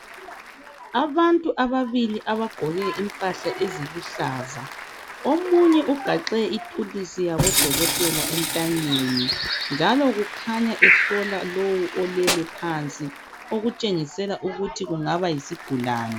Abantu ababili abagqoke impahla eziluhlaza. Omunye ugaxe ithulusi yabodokotela entanyeni njalo kukhanya ehlola lowu olele phansi okutshengisela ukuthi kungaba yisigulane.